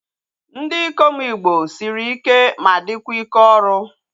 Ndị ikom igbo sịrị ike ma dịkwa ike ọrụ